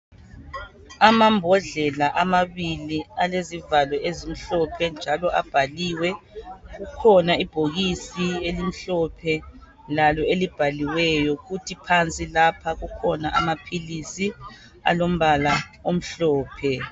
Amambodlela amabili alezivalo ezimhlophe njalo abhaliwe. Likhona ibhokisi elimhlophe lalo elibhaliweyo kuthi phansi lapha kukhona amaphilisi alombala omhlophe .